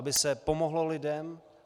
Aby se pomohlo lidem.